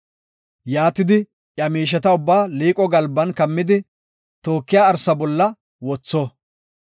Yaatidi iya miisheta ubbaa liiqo galban kammidi tookiya arsa bolla wothona.